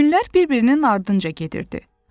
Günlər bir-birinin ardınca gedirdi.